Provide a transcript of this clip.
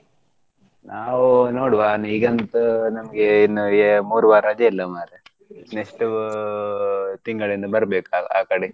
ನಾವು ನೋಡುವ ಈಗಂತೂ ನಮ್ಗೆ ಇನ್ ಎ~ ಮೂರು ವಾರ ರಜೆ ಇಲ್ಲ ಮಾರ್ರೆ. next ಉ ತಿಂಗಳಿಂದ ಬರ್ಬೇಕು ಆ ಕಡೆ.